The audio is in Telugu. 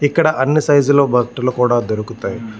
ఇక్కడ అన్నీ సైజ్ లో బట్టలు కూడా దొరుకుతాయి.